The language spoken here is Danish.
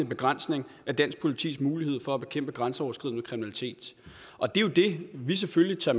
begrænsning af dansk politis mulighed for at bekæmpe grænseoverskridende kriminalitet og det er jo det vi selvfølgelig tager